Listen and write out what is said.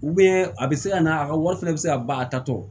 a bɛ se ka na a ka wari fɛnɛ bɛ se ka ban a tatɔ